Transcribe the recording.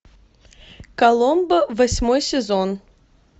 коломбо восьмой сезон